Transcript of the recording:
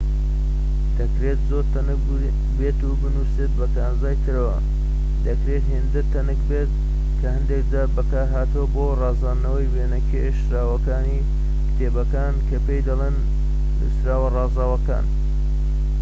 دەکرێت زۆر تەنک بێت و بنوسێت بە کانزای ترەوە دەکرێت هێندە تەنک بێت کە هەندێك جار بەکار هاتووە بۆ ڕازاندنەوەی وێنە کێشراوەکانی کتێبەکان کە پێی دەڵێن نوسراوە ڕازاوەکان